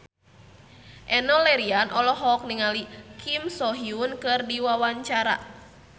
Enno Lerian olohok ningali Kim So Hyun keur diwawancara